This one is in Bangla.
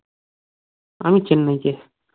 আমি চেন্নাই কে